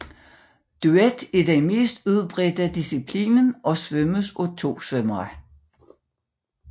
Duet er den mest udbredte disciplin og svømmes af 2 svømmere